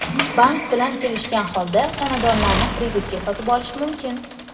Bank bilan kelishgan holda, xonadonlarni kreditga sotib olish mumkin.